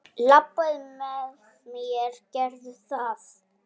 Labbaðu með mér, gerðu það!